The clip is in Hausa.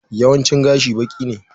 Yawancin gashi baki ne.